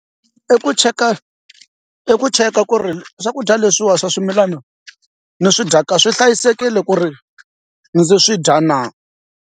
I ku cheka i ku cheka ku ri swakudya leswiwani swa swimilana ni swi dyaka swi hlayisekile ku ri ndzi swi dya na.